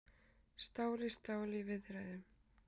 Stál í stál í viðræðum